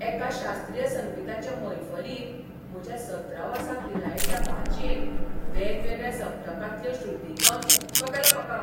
एका शास्त्रीय संगिताचे मैफलींत म्हज्या सतरा वर्सां पिरायेच्या भाचयेन वेगवेगळ्या सप्तकांतल्यो श्रुती गावन थक्क केलो म्हाका.